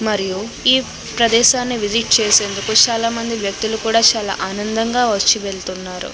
మరియు ఈ ప్రదేశాన్ని విసిట్ చేసేందుకు చాలా మంది వ్యక్తులు కూడ చాలా ఆనందంగా వచ్చి వెళ్తున్నారు.